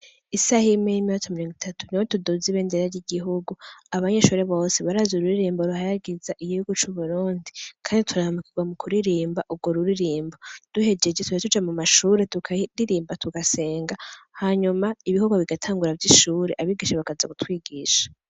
Isaha imwe n'iminota mirongo itatu, niho tuduzia ibendera ry'igihugu. Abanyeshuri bose barazi ururirimbo ruhayagiza igihugu c' uburundi. Kandi turaramukirwa mu kuririmba urwo ruririmbo. Duhjeje duca tuja mu mashure tukaririmba, tugasenga, hanyuma ibikorwa bigatangura vy'ishuri abigishwa bakaza gutwigisha.